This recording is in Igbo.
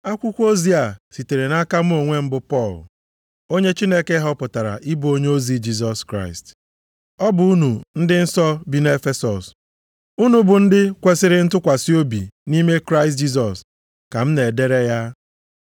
Akwụkwọ ozi a sitere nʼaka mụ onwe m bụ Pọl, onye Chineke họpụtara ịbụ onyeozi Jisọs Kraịst. Ọ bụ unu ndị nsọ bi nʼEfesọs, unu bụ ndị kwesiri ntụkwasị obi nʼime Kraịst Jisọs, ka m na-edere ya: